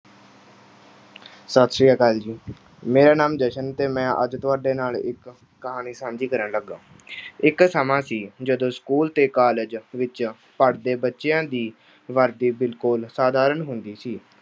ਸਤਿ ਸ੍ਰੀ ਅਕਾਲ ਜੀ। ਮੇਰਾ ਨਾਮ ਜਸ਼ਨ ਤੇ ਮੈਂ ਅੱਜ ਤੁਹਾਡੇ ਨਾਲ ਇੱਕ ਕਹਾਣੀ ਸਾਂਝੀ ਕਰਨ ਲੱਗਾਂ। ਇੱਕ ਸਮਾਂ ਸੀ ਜਦੋਂ school ਤੇ college ਵਿੱਚ ਪੜ੍ਹਦੇ ਬੱਚਿਆਂ ਦੀ ਵਰਦੀ ਬਿਲਕੁਲ ਸਧਾਰਨ ਹੁੰਦੀ ਸੀ।